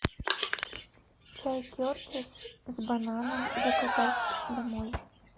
чай кертис с бананом заказать домой